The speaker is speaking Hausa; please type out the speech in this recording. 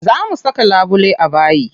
Za mu saka labule a bayi.